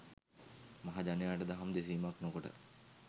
මහජනයාට දහම් දෙසීමක් නොකොට